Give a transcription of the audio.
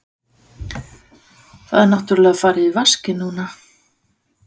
Það er náttúrlega farið í vaskinn núna.